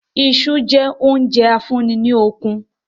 Iṣu jẹ oúnjẹ a fún í lókun